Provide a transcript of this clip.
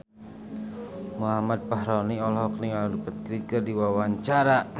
Muhammad Fachroni olohok ningali Rupert Grin keur diwawancara